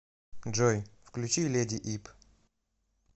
джой включи лэди ип